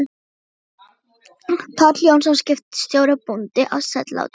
Páll Jónsson, skipstjóri og bóndi, á Sellátrum.